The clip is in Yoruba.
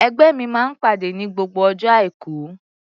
Ẹgbẹ́ mi máa ń pàdé ní gbogbo ọjọ́ Àìkú.